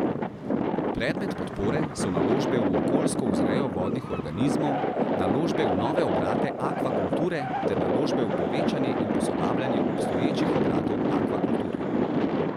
Predmet podpore so naložbe v okoljsko vzrejo vodnih organizmov, naložbe v nove obrate akvakulture ter naložbe v povečanje in posodabljanje obstoječih obratov akvakulture.